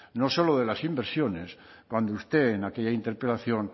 no solo de las inversiones cuando usted en aquella interpelación